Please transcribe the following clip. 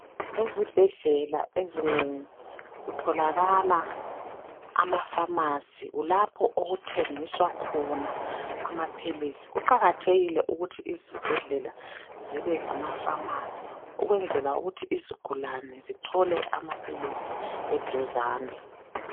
Ezibhedlela ezinengi kutholakala amafamasi kulapho okuthengiswa khona amaphilisi kuqakathekile ukuthi izibhedlela zibe lama famasi ukwenzela ukuthi izigulane zithole amaphilisi eduzane